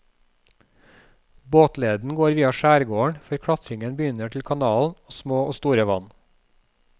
Båtleden går via skjærgården før klatringen begynner til kanalen og små og store vann.